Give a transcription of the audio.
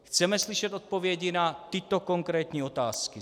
Chceme slyšet odpovědi na tyto konkrétní otázky: